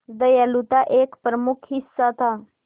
दयालुता एक प्रमुख हिस्सा था